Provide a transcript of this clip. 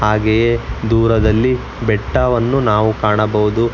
ಹಾಗೆಯೆ ದೂರದಲ್ಲಿ ಬೆಟ್ಟವನ್ನು ನಾವು ಕಾಣಬಹುದು.